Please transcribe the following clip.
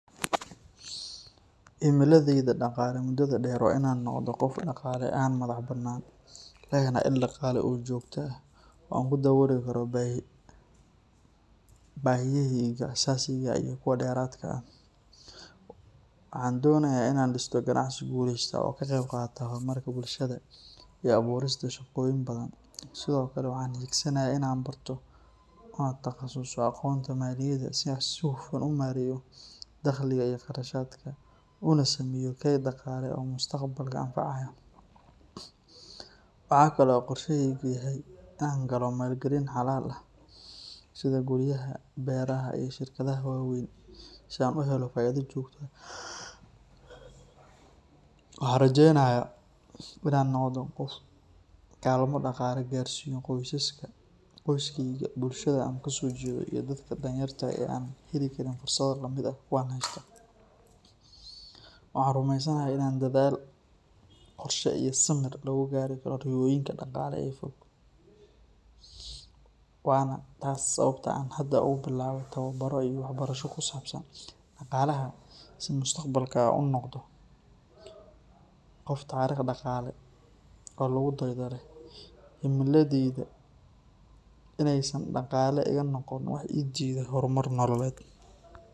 Himiladayda dhaqaale muddada dheer waa inaan noqdo qof dhaqaale ahaan madax bannaan, lehna il dhaqaale oo joogto ah oo aan ku dabooli karo baahiyahayga aasaasiga ah iyo kuwa dheeraadka ah. Waxaan doonayaa inaan dhisto ganacsi guuleysta oo ka qeyb qaata horumarka bulshada iyo abuurista shaqooyin badan. Sidoo kale, waxaan hiigsanayaa inaan barto una takhasuso aqoonta maaliyadda si aan si hufan u maareeyo dakhliga iyo kharashaadka, una sameeyo kayd dhaqaale oo mustaqbalka anfacaya. Waxa kale oo qorshahaygu yahay inaan galo maalgelin xalaal ah sida guryaha, beeraha iyo shirkadaha waaweyn si aan u helo faa’iido joogto ah. Waxaan rajeenayaa inaan noqdo qof kaalmo dhaqaale gaarsiiyo qoyskayga, bulshada aan ka soo jeedo, iyo dadka danyarta ah ee aan heli karin fursado la mid ah kuwa aan haysto. Waxaan rumeysanahay in dadaal, qorshe iyo samir lagu gaari karo riyooyinka dhaqaale ee fog, waana taas sababta aan hadda ugu bilaabay tababaro iyo waxbarasho kusaabsan dhaqaalaha si mustaqbalka aan u noqdo qof taariikh dhaqaale oo lagu daydo leh. Himiladaydu waa inaysan dhaqaale iga noqon wax ii diida horumar nolosheed.